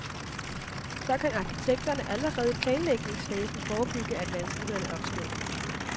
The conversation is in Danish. Så kan arkitekterne allerede i planlægningsfasen forebygge, at vanskelighederne opstår.